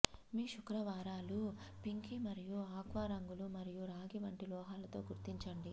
మీ శుక్రవారాలు పింక్ మరియు ఆక్వా రంగులు మరియు రాగి వంటి లోహాలతో గుర్తించండి